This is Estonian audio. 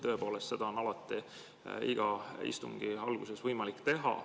Tõepoolest, seda on alati iga istungi alguses võimalik teha.